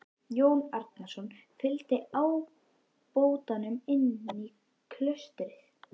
Jón Arason fygldi ábótanum inn í klaustrið.